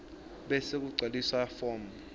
bese kugcwaliswa form